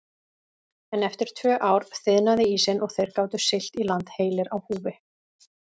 En eftir tvö ár þiðnaði ísinn og þeir gátu siglt í land heilir á húfi.